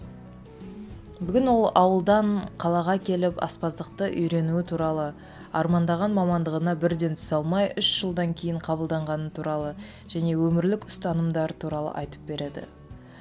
бүгін ол ауылдан қалаға келіп аспаздықты үйренуі туралы армандаған мамандығына бірден түсе алмай үш жылдан кейін қабылданғаны туралы және өмірлік ұстанымдар туралы айтып береді